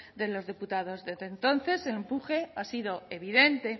de los diputados desde entonces el buque ha sido evidente